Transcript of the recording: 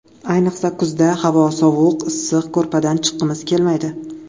Ayniqsa, kuzda... Havo sovuq, issiq ko‘rpadan chiqqimiz kelmaydi.